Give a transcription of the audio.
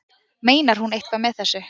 Meinar hún eitthvað með þessu?